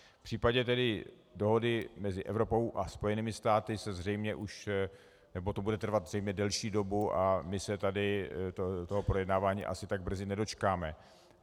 V případě tedy dohody mezi Evropou a Spojenými státy se zřejmě už - nebo to bude trvat zřejmě delší dobu a my se tady toho projednávání asi tak brzy nedočkáme.